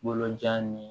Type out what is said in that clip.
Bolojan ni